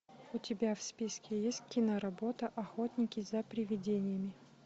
у тебя в списке есть киноработа охотники за привидениями